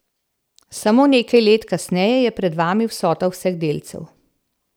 Samo nekaj let kasneje je pred vami vsota vseh delcev.